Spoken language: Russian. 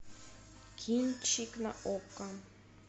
кинчик на окко